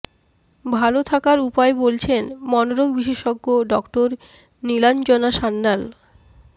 ভালো থাকার উপায় বলছেন মনরোগ বিশেষজ্ঞ ডঃ নীলাঞ্জনা সান্যাল